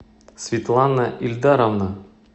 светлана ильдаровна